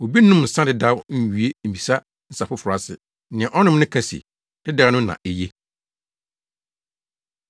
Obi nnom nsa dedaw nwie mmisa nsa foforo ase. Nea ɔnom no ka se, ‘dedaw no na eye.’ ”